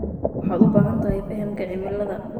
Waxaad u baahan tahay fahamka cimilada.